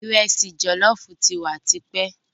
Ìresì jòlóoófu ti wa tipẹ́.